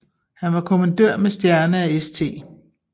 Han var kommandør med stjerne af St